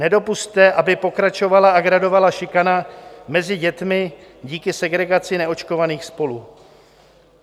Nedopusťte, aby pokračovala a gradovala šikana mezi dětmi díky segregaci neočkovaných spolu.